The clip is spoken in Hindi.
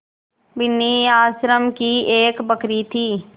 बिन्नी आश्रम की एक बकरी थी